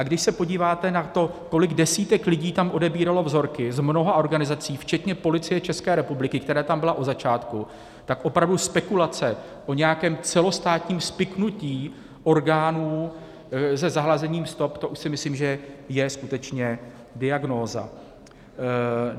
A když se podíváte na to, kolik desítek lidí tam odebíralo vzorky z mnoha organizací, včetně Policie České republiky, která tam byla od začátku, tak opravdu spekulace o nějakém celostátním spiknutí orgánů se zahlazením stop, to už si myslím, že je skutečně diagnóza.